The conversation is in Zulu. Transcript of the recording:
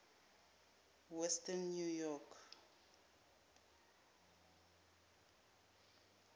western new york